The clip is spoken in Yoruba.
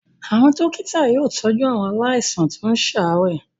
Àwọn dọ́kítá yóò tọ́jú àwọn àwọn aláìsàn tó ń ṣàárẹ̀.